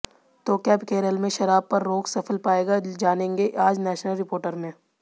तो क्या केरल में शराब पर रोक सफल पाएगा जानेंगे आज नेशनल रिपोर्टर में